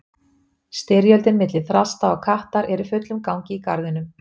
Styrjöldin milli þrasta og kattar er í fullum gangi í garðinum.